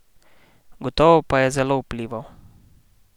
Gotovo pa je zelo vplival!